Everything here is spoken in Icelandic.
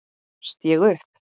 Gafst ég upp?